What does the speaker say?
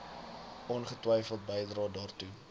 ongetwyfeld bydrae daartoe